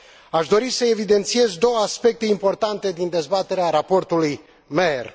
Aș dori să evidențiez două aspecte importante din dezbaterea raportului Meyer.